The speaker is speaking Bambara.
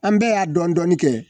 An bɛɛ y'a dɔn dɔni kɛ